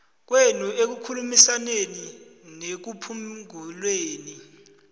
kwenu ekukhulumisaneni nekuphunguleni